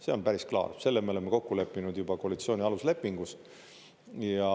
See on päris klaar, selle me oleme kokku leppinud juba koalitsiooni aluslepingus.